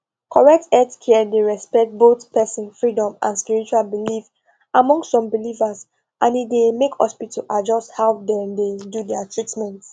correct healthcare dey respect both person freedom and spiritual belief among some believers and e dey make hospitals adjust how dem dey do their treatment